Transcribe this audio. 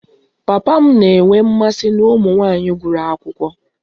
Papa m na-enwe mmasị na ụmụ nwanyị gụrụ akwụkwọ